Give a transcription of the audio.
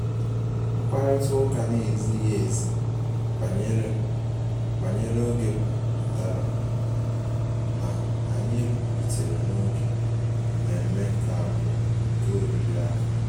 Mkparịta ụka na-ezighi ezi banyere banyere oge pụtara na anyị rutere n'oge mmemme nke abụọ nke oriri ahụ